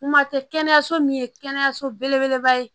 Kuma tɛ kɛnɛyaso min ye kɛnɛyaso belebeleba ye